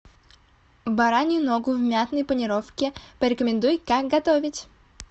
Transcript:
баранью ногу в мятной панировке порекомендуй как готовить